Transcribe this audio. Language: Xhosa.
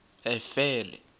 efele